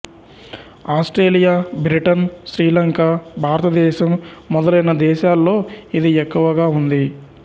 Australia Britain Sri Lanka భారతదేశం మొదలైన దేశాల్లో ఇది ఎక్కువగా ఉంది